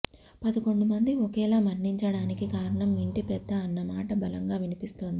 పదకొండు మంది ఒకేలా మరణించటానికి కారణం ఇంటిపెద్ద అన్న మాట బలంగా వినిపిస్తోంది